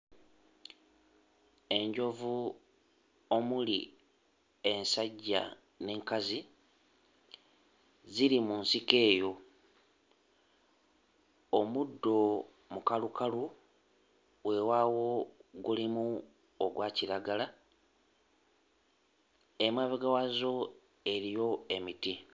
Enjovu omuli ensajja n'enkazi ziri mu nsiko eyo, omuddo mukalukalu weewaawo gulimu ogwa kiragala. Emabega waazo eriyo emiti.